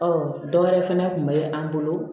Ɔ dɔ wɛrɛ fɛnɛ kun be an bolo